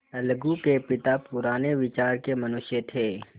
अलगू के पिता पुराने विचारों के मनुष्य थे